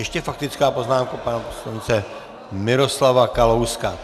Ještě faktická poznámka pana poslance Miroslava Kalouska.